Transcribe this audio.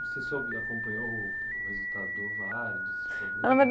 Você soube, acompanhou o resultado do var? Na